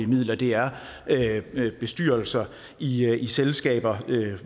midler det er bestyrelser i i selskaber